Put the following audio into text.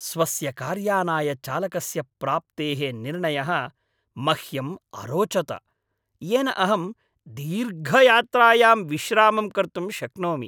स्वस्य कार्यानाय चालकस्य प्राप्तेः निर्णयः मह्यम् अरोचत येन अहं दीर्घयात्रायां विश्रामं कर्तुं शक्नोमि।